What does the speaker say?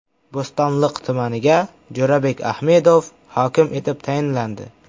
Bo‘stonliq tumaniga Jo‘rabek Ahmedov hokim etib tayinlandi.